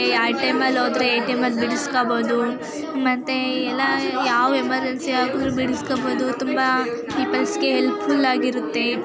ಯಾವ್ ಟೈಮ್ ಅಲ್ಲಿ ಹೊದ್ರೆ ಎ_ಟಿ_ಯಂ ಬಿಡ್ಸ್ಕೊಬೋದು ಮತ್ತೆ ಎಲ್ಲಾ ಯಾವ್ ಎಮರ್ಜೆನ್ಸಿ ಆದರು ಬಿಡ್ಸ್ಕೊದ್ಬೋದು ತುಂಬಾ ಪೀಪಲ್ಸ್ ಗೆ ಹೆಲ್ಪ್ಫುಲ್ ಆಗಿರುತ್ತೆ.